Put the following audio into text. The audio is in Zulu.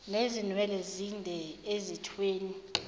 nezinwele ezinde ezithweni